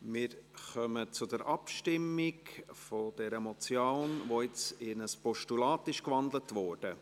Wir stimmen über die Motion ab, welche in ein Postulat gewandelt wurde.